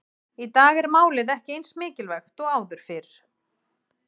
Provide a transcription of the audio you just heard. Í dag er málið ekki eins mikilvægt og áður fyrr.